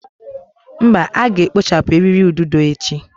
Mba, a ga-ekpochapụ eriri ududo echi.